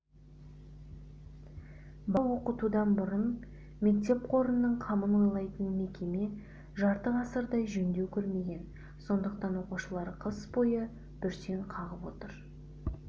бала оқытудан бұрын мектеп қорының қамын ойлайтын мекеме жарты ғасырдай жөндеу көрмеген сондықтан оқушылар қыс бойы бүрсең қағып отыр